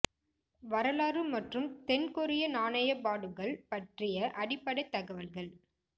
வரலாறு மற்றும் தென் கொரிய நாணய பாடுகள் பற்றிய அடிப்படைத் தகவல்கள்